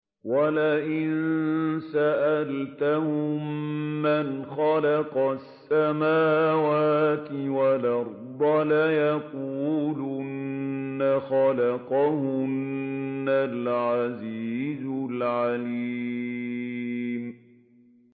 وَلَئِن سَأَلْتَهُم مَّنْ خَلَقَ السَّمَاوَاتِ وَالْأَرْضَ لَيَقُولُنَّ خَلَقَهُنَّ الْعَزِيزُ الْعَلِيمُ